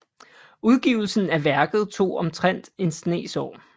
Udgivelsen af værket tog omtrent en snes år